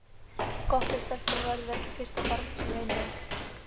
Gott ef stelpan verður ekki fyrsta barnið sem reynir hann.